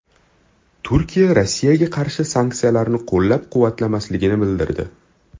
Turkiya Rossiyaga qarshi sanksiyalarni qo‘llab-quvvatlamasligini bildirdi.